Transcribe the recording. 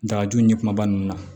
Dagaju ɲɛ kumaba ninnu na